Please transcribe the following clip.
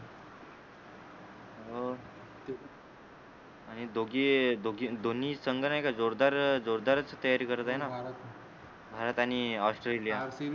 हो आणि दोघे दोघे दोन्ही संघ नाही का जोरदार जोरदारच तयारी करत आहेना भारत आणि ऑस्ट्रेलिया